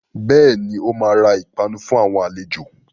Bẹ́ẹ̀ni, ó máa ra ìpanu fún àwọn àlejò